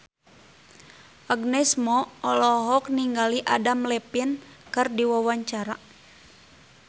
Agnes Mo olohok ningali Adam Levine keur diwawancara